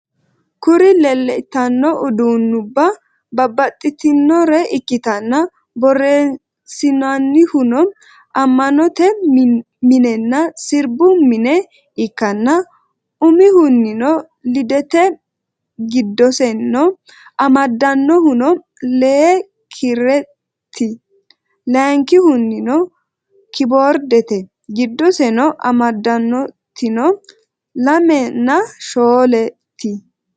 Kuri leleitano udunuba babatitinore ikitana horronisinanihuno amanote minena sirribu mine ikana umihunino lidete gidoseno amaddanohuno lee kirret layinkihunino kyboridete gidoseno amadonotinno lemina sholet